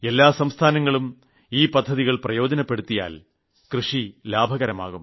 എല്ലാ സംസ്ഥാനങ്ങളും ഈ പദ്ധതികൾ പ്രയോജനപ്പെടുത്തിയാൽ കൃഷി ലാഭകരമാകും